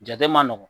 Jate ma nɔgɔn